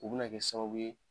U bɛ na kɛ sababu ye